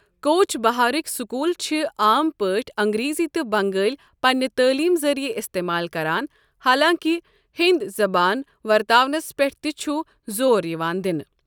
کوچ بہارٕکۍ سکوٗل چھِ عام پٲٹھۍ انگریزی تہٕ بنٛگٲلۍ پننہِ تعلیم ذریعہ استعمال کران، حالانٛکہِ ہنٛدی زبان ورتاونس پیٛٹھ تہِ چھُ زور یِوان دِنہٕ۔